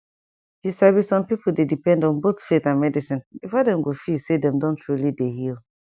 you sabi some people dey depend on both faith and medicine before dem go feel say dem don truly dey heal